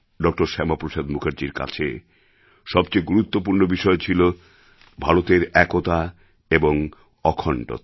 doctor Syama Prasad মুখার্জির কাছে সবচেয়ে গুরুত্বপূর্ণ বিষয় ছিল ভারতের একতা এবং অখণ্ডতা